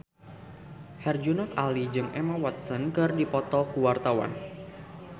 Herjunot Ali jeung Emma Watson keur dipoto ku wartawan